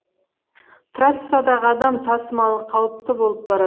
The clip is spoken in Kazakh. трассадағы адам тасымалы қауіпті болып барат